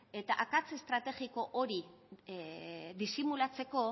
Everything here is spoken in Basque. eta akats estrategiko hori disimulatzeko